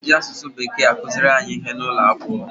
E ji asụsụ Bekee akụziri anyị ihe n'ụlọ akwụkwọ.